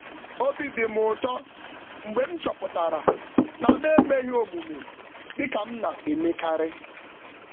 Obi dị m ụtọ mgbe m um chọpụtara na m um emeghị omume dị ka m m na-emekarị.